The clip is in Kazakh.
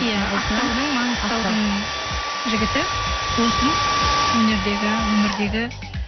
иә ақтаудың жігіті досым өнердегі өмірдегі